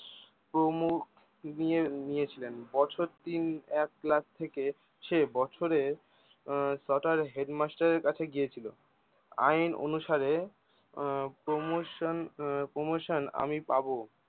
প্রমুখ দিয়ে নিয়েছিলেন বছর তিন এক ক্লাসে থেকে সে বছরে আহ তথা হেডমাস্টারের কাছে গিয়েছিলো আইন অনুসারে আহ promotion আহ promotion আমি পাবো